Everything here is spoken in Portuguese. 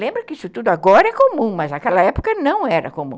Lembra que isso tudo agora é comum, mas naquela época não era comum.